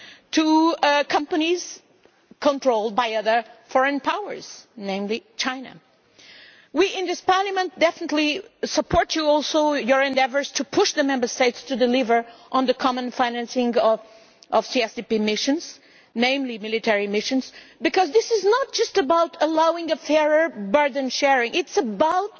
to companies controlled by other foreign powers, namely China. We in this Parliament definitely support your endeavours to push the Member States to deliver on the common financing of CSDP missions, namely military missions, because this is not just about facilitating fairer burden sharing, it is about